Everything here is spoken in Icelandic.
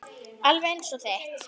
Alveg eins og þitt.